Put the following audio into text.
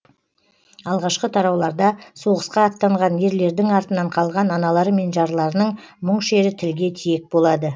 алғашқы тарауларда соғысқа аттанған ерлердің артынан қалған аналары мен жарларының мұң шері тілге тиек болады